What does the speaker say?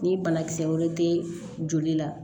Ni banakisɛ wɛrɛ te joli la